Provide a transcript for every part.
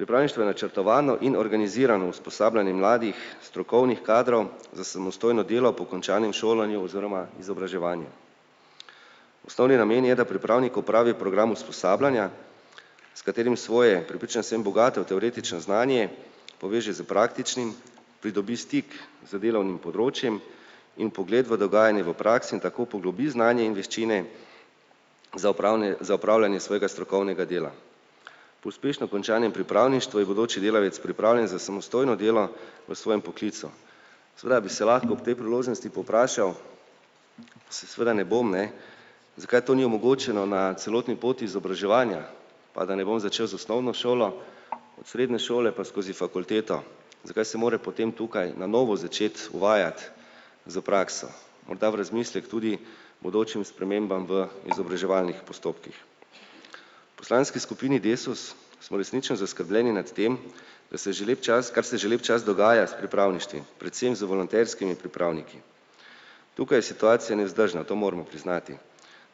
Pripravništvo je načrtovano in organizirano usposabljanje mladih strokovnih kadrov za samostojno delo po končanem šolanju oziroma izobraževanju. Osnovni namen je, da pripravnik opravi program usposabljanja, s katerim svoje, prepričan sem, bogato teoretično znanje poveže s praktičnim, pridobi stik z delovnim področjem in pogled v dogajanje v praksi in tako poglobi znanje in veščine za za opravljanje svojega strokovnega dela. Po uspešno končanem pripravništvu je bodoči delavec pripravljen za samostojno delo v svojem poklicu. Seveda bi se lahko ob tej priložnosti povprašal se, seveda ne bom, ne, zakaj to ni omogočeno na celotni poti izobraževanja pa da ne bom začel z osnovno šolo od srednje šole pa skozi fakulteto. Zakaj se mora potem tukaj na novo začeti uvajati s prakso? Morda v razmislek tudi bodočim spremembam v izobraževalnih postopkih. Poslanski skupini Desus smo resnično zaskrbljeni nad tem, da se že lep čas, kar se že lep čas dogaja s pripravništvi, predvsem z volonterskimi pripravniki. Tukaj je situacija nevzdržna, to moramo priznati.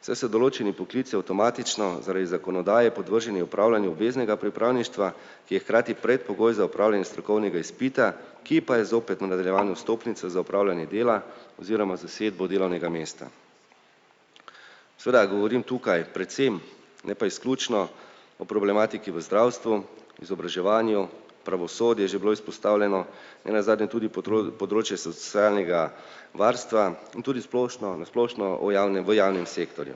Saj se določeni poklici avtomatično zaradi zakonodaje podvrženi opravljanju obveznega pripravništva, ki je hkrati predpogoj za opravljanje strokovnega izpita, ki pa je zopet v nadaljevanju stopnice za opravljanje dela oziroma zasedbo delovnega mesta. Seveda govorim tukaj predvsem, ne pa izključno o problematiki v zdravstvu, izobraževanju, pravosodje je že bilo izpostavljeno, nenazadnje tudi področje socialnega varstva in tudi splošno na splošno o javnem v javnem sektorju.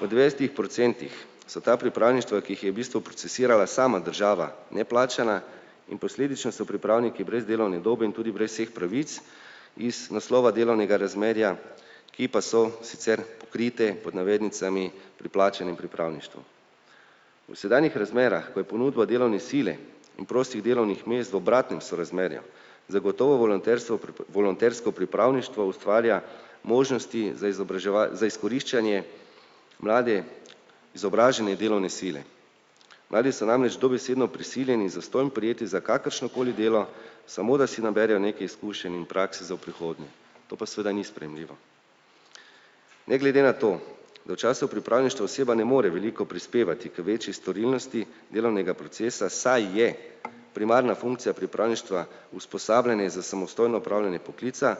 V dvajsetih procentih so ta pripravništva, ki jih je v bistvu procesirala sama država, neplačana in posledično so pripravniki brez delovne dobe in tudi brez vseh pravic iz naslova delovnega razmerja, ki pa so sicer pokrite pod navednicami pri plačanem pripravništvu. V sedanjih razmerah, ko je ponudba delovne sile in prostih delovnih mest v obratnem sorazmerju, zagotovo volonterstvo volontersko pripravništvo ustvarja možnosti za za izkoriščanje mlade izobražene delovne sile. Mladi so namreč dobesedno prisiljeni zastonj za kakršnokoli delo, samo da si naberejo nekaj izkušenj in prakse za v prihodnje. To pa seveda ni sprejemljivo. Ne glede na to, da v času pripravništva oseba ne more veliko prispevati k večji storilnosti delovnega procesa, saj je primarna funkcija pripravništva usposabljanje za samostojno opravljanje poklica,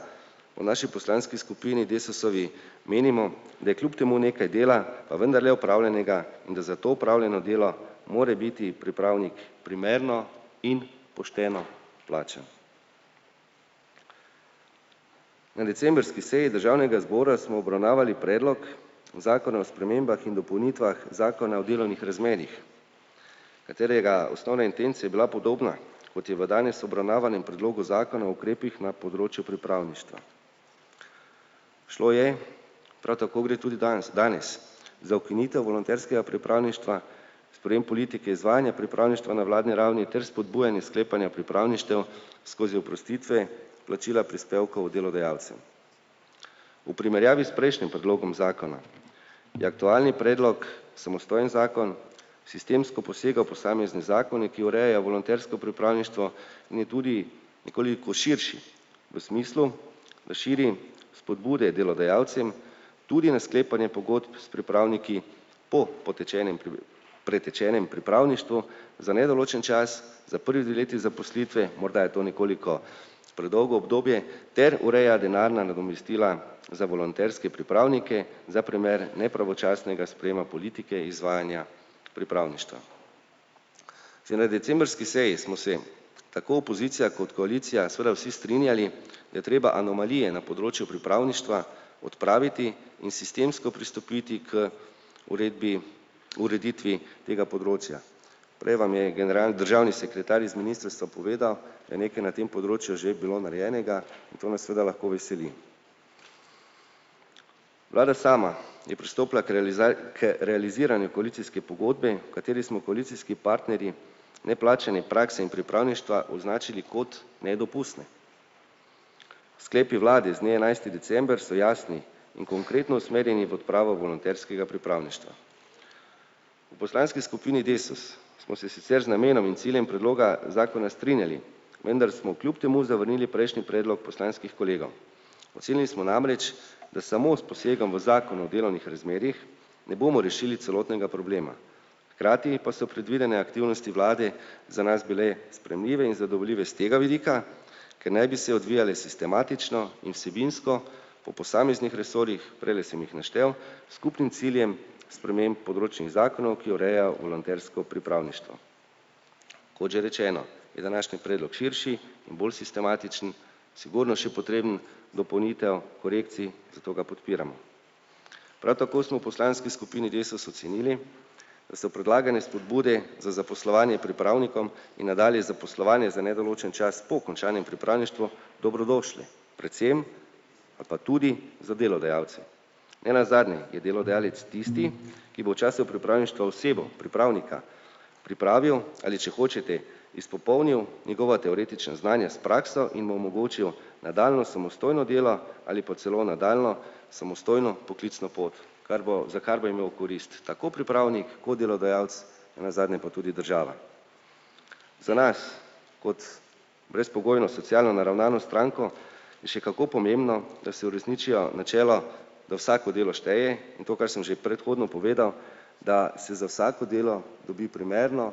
v naši poslanski skupini Desusovi menimo, da je kljub temu nekaj dela pa vendarle opravljenega in da za to opravljeno delo mora biti pripravnik primerno in pošteno plačan. V decembrski seji državnega zbora smo obravnavali predlog zakona o spremembah in dopolnitvah zakona o delovnih razmerjih, katerega osnovna intenca je bila podobna, kot je v danes obravnavanem predlogu zakona o ukrepih na področju pripravništva. Šlo je prav tako gre tudi danes danes za ukinitev volonterskega pripravništva, sprejem politike izvajanja pripravništva na vladni ravni ter spodbujanje sklepanja pripravništev skozi oprostitve plačila prispevkov delodajalcem. V primerjavi s prejšnjim predlogom zakona je aktualni predlog samostojen zakon, sistemsko posega v posamezne zakone, ki urejajo volontersko pripravništvo in je tudi nekoliko širši, v smislu, da širi spodbude delodajalcem tudi na sklepanje pogodb s pripravniki po potečenem pretečenem pripravništvu za nedoločen čas za prvi dve leti zaposlitve. Morda je to nekoliko predolgo obdobje. Ter ureja denarna nadomestila za volonterske pripravnike za primer nepravočasnega sprejema politike izvajanja pripravništva. Že na decembrski seji smo se tako opozicija kot koalicija seveda vsi strinjali, da treba anomalije na področju pripravništva odpraviti in sistemsko pristopiti k uredbi, ureditvi tega področja. Prej vam je general državni sekretar iz ministrstva povedal, da je nekaj na tem področju že bilo narejenega, in to nas seveda lahko veseli. Vlada sama je pristopila k k realiziranju koalicijske pogodbe, v kateri smo koalicijski partnerji neplačane prakse in pripravništva označili kot nedopustne. Sklepu vlade z dne enajsti december so jasni in konkretno usmerjeni v odpravo volonterskega pripravništva. V poslanski skupini Desus smo se sicer z namenom in ciljem predloga zakona strinjali, vendar smo kljub temu zavrnili prejšnji predlog poslanskih kolegov, ocenili smo namreč, da samo s posegom v zakon o delovnih razmerjih ne bomo rešili celotnega problema, hkrati pa so predvidene aktivnosti vlade za nas bile sprejemljive in zadovoljive s tega vidika, ker naj bi se odvijale sistematično in vsebinsko po posameznih resorjih, prejle sem jih naštel, skupnim ciljem sprememb področnih zakonov, ki ureja volontersko pripravništvo. Kot že rečeno, je današnji predlog širši in bolj sistematičen, sigurno še potreben dopolnitev, korekcij, zato ga podpiramo. Prav tako smo v poslanski skupini Desus ocenili, da so predlagane spodbude za zaposlovanje pripravnikom in nadalje zaposlovanje za nedoločen čas po končanem pripravništvu dobrodošli predvsem ali pa tudi za delodajalce. Nenazadnje je delodajalec tisti, ki bo v času pripravništva osebo, pripravnika, pripravil, ali če hočete, izpopolnil njegova teoretična znanja s prakso in mu omogočil nadaljnje samostojno delo ali pa celo nadaljnjo samostojno poklicno pot, kar bo, za kar bo imel korist tako pripravnik kot delodajalec, nenazadnje pa tudi država. Za nas kot brezpogojno socialno naravnano stranko je še kako pomembno, da se uresničijo načelo, da vsako delo šteje, in kar sem že predhodno povedal, da se za vsako delo dobi primerno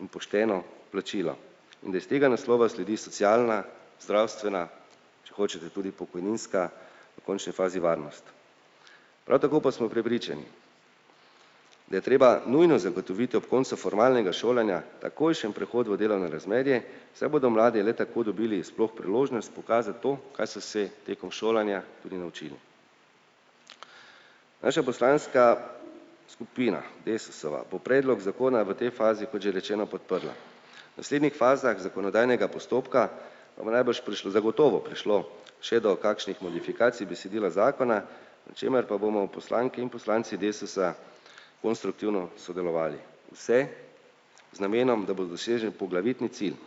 in pošteno plačilo in da iz tega naslova sledi socialna, zdravstvena, če hočete tudi pokojninska v končni fazi, varnost. Prav tako pa smo prepričani, da je treba nujno zagotoviti ob koncu formalnega šolanja takojšen prehod v delovno razmerje, saj bodo mladi le tako dobili sploh priložnost pokazati to, kaj so se tekom šolanja tudi naučili. Naša poslanska skupina Desusova bo predlog zakona v tej fazi, kot že rečeno, podprla. Naslednjih fazah zakonodajnega postopka pa bo najbrž prišlo zagotovo prišlo še do kakšnih modifikacij besedila zakona, na čemer pa bomo poslanke in poslanci Desusa konstruktivno sodelovali. Vse z namenom, da bo dosežen poglavitni cilj.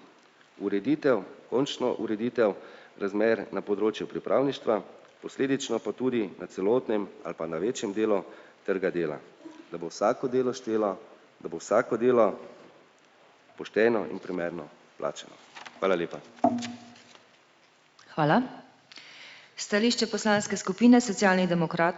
Ureditev, končno ureditev razmer na področju pripravništva, posledično pa tudi na celotnem ali pa na večjem delu trga dela, da bo vsako delo štelo, da bo vsako delo pošteno in primerno plačano. Hvala lepa.